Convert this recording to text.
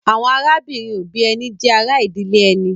Àwọn arábìnrin-òbí ẹni jẹ́ ará ìdílé ẹni.